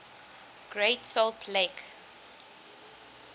great salt lake